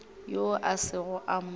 yoo a sego a mo